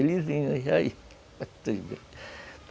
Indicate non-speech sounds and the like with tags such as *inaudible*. Eles iam, *unintelligible* *laughs*